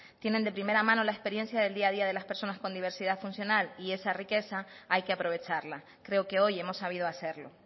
tienen de primera mano la experiencia del día a día de las personas con diversidad funcional y esa riqueza hay que aprovecharla creo que hoy hemos sabido hacerlo